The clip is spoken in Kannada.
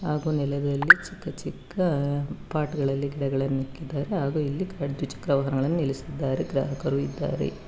ಹಾಗು ನೆಲದಲ್ಲಿ ಚಿಕ್ಕ ಚಿಕ್ಕ ಪಾಟ ಗಳಲ್ಲಿ ಗಿಡಗಳನ್ನ ಇಕ್ಕಿದಾರೆ ಹಾಗು ಇಲ್ಲಿ ಕಡ್ಜ್ ಚಿಕ್ಕ ವಾಹನಗಳನ್ನ ನಿಲ್ಲಿಸಿದ್ದಾರೆ ಗ್ರಾಹಕರು ಇದ್ದಾರೆ.